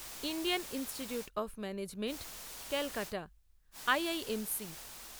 Indian Institute of Management Calcutta IIMC